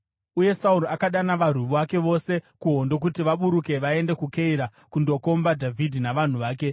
Uye Sauro akadana varwi vake vose kuhondo, kuti vaburuke vaende kuKeira kundokomba Dhavhidhi navanhu vake.